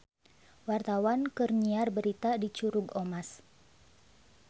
Wartawan keur nyiar berita di Curug Omas